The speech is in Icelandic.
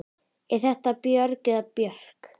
Er það Björg eða Björk?